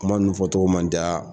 Kuma nunnu fɔ togo ma n da